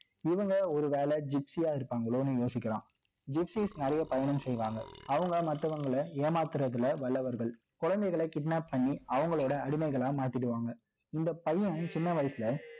இவங்க, ஒருவேளை gypsie யா இருப்பாங்களோன்னு யோசிக்கலாம் gypsies நிறைய பயணம் செய்வாங்க. அவங்க மத்தவங்கள ஏமாத்துறதுல வல்லவர்கள். குழந்தைகளை kidnap பண்ணி, அவங்களோட அடிமைகளா மாத்திடுவாங்க. இந்த பையன், சின்ன வயசுல